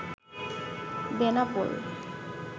Benapole